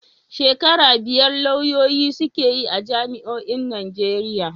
Shekara biyar lauyoyi suke a jami'o'in Najeriya.